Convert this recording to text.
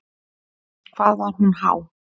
Hvað var hún há?